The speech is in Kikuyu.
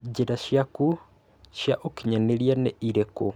njira ciakũ cia ukinyanĩria nĩ ĩriku?